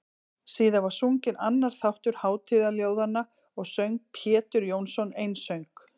Síðan var sunginn annar þáttur hátíðarljóðanna og söng Pjetur Jónsson einsöng.